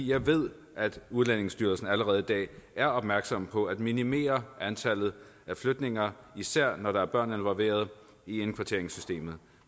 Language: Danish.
jeg ved at udlændingestyrelsen allerede i dag er opmærksom på at minimere antallet af flytninger især når der er børn involveret i indkvarteringssystemet